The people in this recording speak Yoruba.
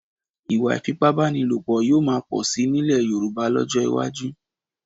Ìwà ìfipábánilòpọ̀ yóò máa pọ̀ síi nílẹ̀ Yorùbá lọ́jọ́ iwájú